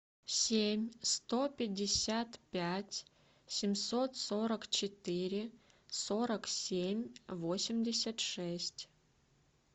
семь сто пятьдесят пять семьсот сорок четыре сорок семь восемьдесят шесть